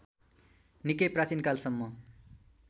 निकै प्राचीनकालसम्म